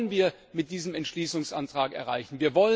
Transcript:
Das wollen wir mit diesem Entschließungsantrag erreichen.